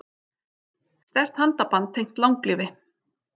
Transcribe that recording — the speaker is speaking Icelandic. Sterkt handaband tengt langlífi